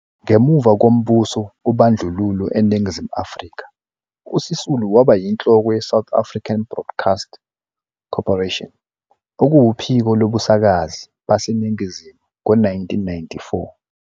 Ngemuva kombuso wobandlululo eNingizimu Afrika, uSisulu waba yinhloko ye-South African Broadcast Corporation okuwuphiko lobusakazi baseNingizimu ngo-1994.